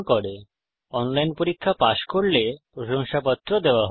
যারা অনলাইন পরীক্ষা পাস করে তাদের প্রশংসাপত্র দেওয়া হয়